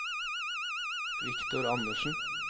Victor Anderssen